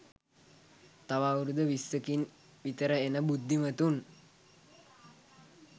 තව අවුරුදු විස්සකින් විතර එන බුද්ධිමතුන්